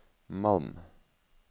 Malm